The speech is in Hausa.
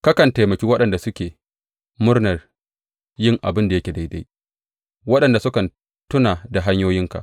Kakan taimaki waɗanda suke murnan yin abin da yake daidai, waɗanda sukan tuna da hanyoyinka.